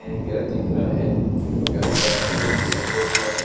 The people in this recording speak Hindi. एक घर दिख रहा है घर का रंग सफेद है।